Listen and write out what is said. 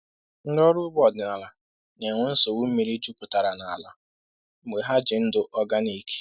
Ndị ọrụ ugbo ọdịnala na-enwe nsogbu mmiri jupụtara n’ala mgbe ha ji ndụ organic.